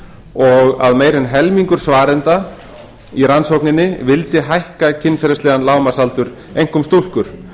og að meira en helmingur svarenda í rannsókninni vildi hækka kynferðislegan lágmarksaldur einkum stúlkur